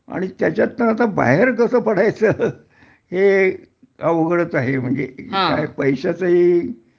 आणि त्याच्यातं आता बाहेर कसं पडायचं हे अवघडच आहे म्हणजे पैश्याचंही